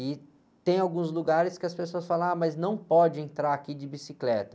E tem alguns lugares que as pessoas falam, ah, mas não pode entrar aqui de bicicleta.